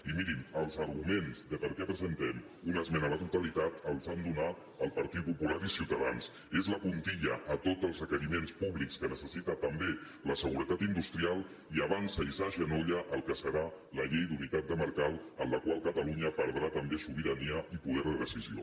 i mirin els arguments de per què presentem una esmena a la totalitat els han donat el partit popular i ciutadans és la puntilla a tots els requeriments públics que necessita també la seguretat industrial i avança i s’agenolla al que serà la llei d’unitat de mercat en la qual catalunya perdrà també sobirania i poder de decisió